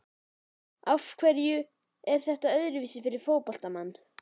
Af hverju er þetta öðruvísi fyrir fótboltamann?